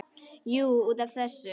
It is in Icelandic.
Jú, út af þessu.